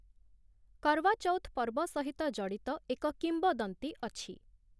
କରୱା ଚୌଥ ପର୍ବ ସହିତ ଜଡ଼ିତ ଏକ କିମ୍ବଦନ୍ତୀ ଅଛି ।